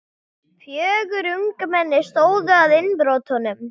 Fjögur ungmenni stóðu að innbrotum